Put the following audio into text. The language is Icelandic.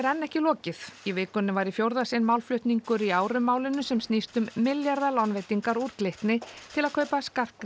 ekki enn lokið í vikunni var í fjórða sinn málflutningur í aurum málinu sem snýst um milljarðalánveitingar úr Glitni til að kaupa